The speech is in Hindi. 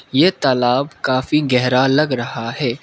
ये तालाब काफ़ी गहरा लग रहा है।